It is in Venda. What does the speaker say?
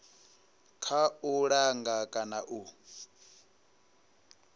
kha u langa kana u